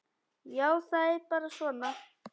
Já, það er bara svona.